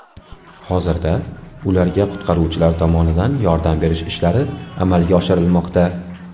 Hozirda ularga qutqaruvchilar tomonidan yordam berish ishlari amalga oshirilmoqda.